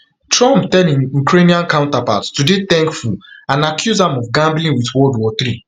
trump tell im ukrainian counterpart to dey thankful and accuse am of gambling with world war war three